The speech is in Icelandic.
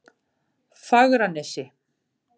Fagranesi